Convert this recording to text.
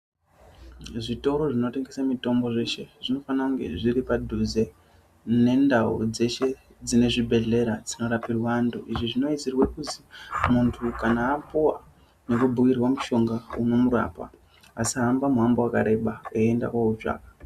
Zvitoro zvinotengeswe mitombo zveshe zvinofanirwa kunge zviri padhuze nendau dzeshe dzine zvibhedhlera dzinorapirwa antu izvi zvinoisirwa kuti muntu kana apuwa nekubhiirwa mishonga yekumurapa asahamba muhambo wakareba eienda kunoutsvaka.